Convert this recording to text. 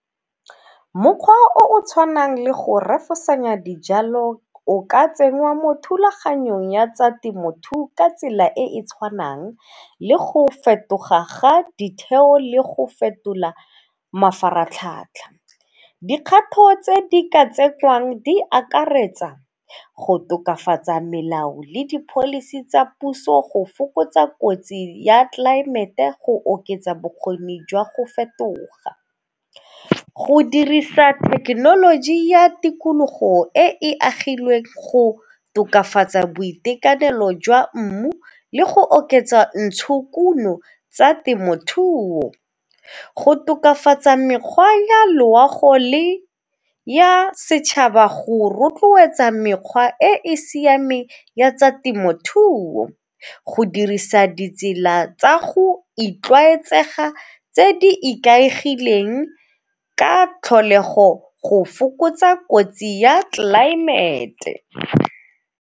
Mokgwa o o tshwanang le go refosanya dijalo o ka tsenngwa mo thulaganyong ya tsa temothuo ka tsela e e tshwanang le go fetoga ga ditheo le go fetola mafaratlhatlha. Dikgato tse di ka tsetswang di akaretsa go tokafatsa melao le di-policy tsa puso, go fokotsa kotsi ya tlelaemete, go oketsa bokgoni jwa go fetoga, go dirisa thekenoloji ya tikologo e agilweng, go tokafatsa boitekanelo jwa mmu le go oketsa ntshokuno tsa temothuo. Go tokafatsa mekgwa ya loago le ya setšhaba go rotloetsa mekgwa e e siameng ya tsa temothuo, go dirisa ditsela tsa go itlwaetsega tse di ikaegileng ka tlholego go fokotsa kotsi ya tlelaemete.